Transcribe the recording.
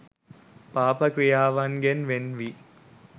පාප ක්‍රියාවන්ගෙන් වෙන් වී